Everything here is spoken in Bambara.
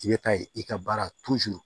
I bɛ taa ye i ka baara